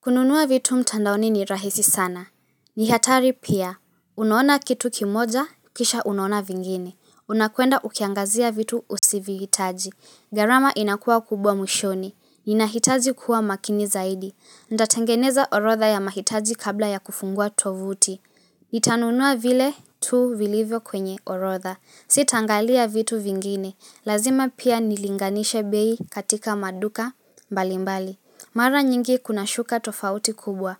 Kununua vitu mtandaoni ni rahisi sana. Nihatari pia. Unaona kitu kimoja, kisha unaona vingine. Unakwenda ukiangazia vitu usivihitaji. Gharama inakuwa kubwa mwishoni. Ninahitaji kuwa makini zaidi. Nitatengeneza orodha ya mahitaji kabla ya kufungua tovuti. Nitanunua vile tu vilivyo kwenye orodha. Sitaangalia vitu vingine. Lazima pia nilinganishe bei katika maduka mbalimbali. Mara nyingi kunashuka tofauti kubwa